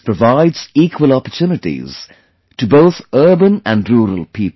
This provides equal opportunities to both urban and rural people